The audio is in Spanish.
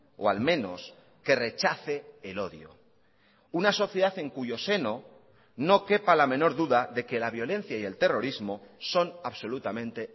o al menos que rechace el odio una sociedad en cuyo seno no quepa la menor duda de que la violencia y el terrorismo son absolutamente